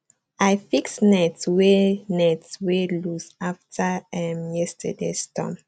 i fix net wey net wey loose after um yesterdays storm